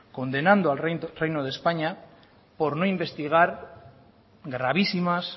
condenando al reino de españa por no investigar gravísimas